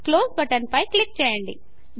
close button పై click చేయండి